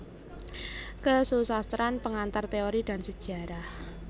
Kesusastraan Pengantar Teori dan Sejarah